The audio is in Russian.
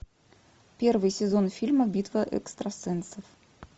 первый сезон фильма битва экстрасенсов